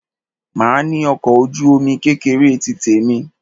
Màá ní ọkọ̀ ojú-omi kékeré tí tèmi.